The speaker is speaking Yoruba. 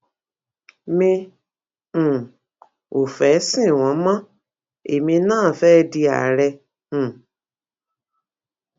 mi um ò fẹẹ sin wọn mọ èmi náà fẹẹ di àárẹ um